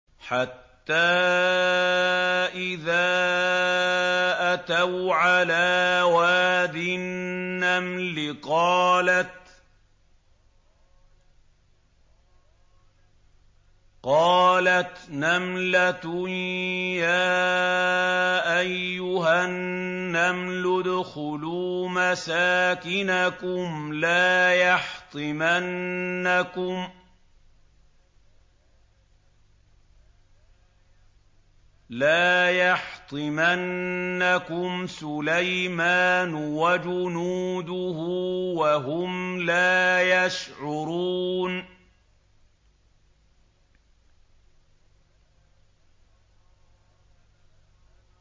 حَتَّىٰ إِذَا أَتَوْا عَلَىٰ وَادِ النَّمْلِ قَالَتْ نَمْلَةٌ يَا أَيُّهَا النَّمْلُ ادْخُلُوا مَسَاكِنَكُمْ لَا يَحْطِمَنَّكُمْ سُلَيْمَانُ وَجُنُودُهُ وَهُمْ لَا يَشْعُرُونَ